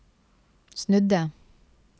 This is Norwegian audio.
snudde